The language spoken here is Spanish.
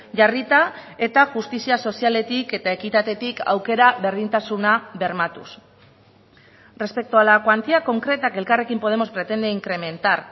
jarrita eta justizia sozialetik eta ekitatetik aukera berdintasuna bermatuz respecto a la cuantía concreta que elkarrekin podemos pretende incrementar